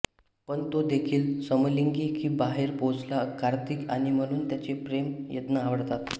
पण तो देखील समलिंगी की बाहेर पोहोचला कर्थिक आणि म्हणून त्याचे प्रेम यज्ञ आवडतात